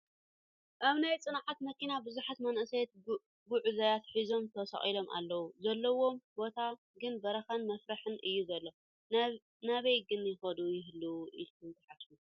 ኣብ ናይ ፅዕነት መኪና ብዙሓት መናእሰያት ጉዓዛት ሒዞም ተሰቒሎም ኣለዉ ፡ ዘለውዎ ቦታ ግን በረኻን መፍርሕን እዩ ዘሎ ፡ ናበይ ከን ይኸዱ ይህልዉ ኢልኩም ትሓስቡ ?